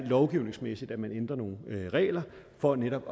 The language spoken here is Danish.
lovgivningsmæssigt nogle regler for netop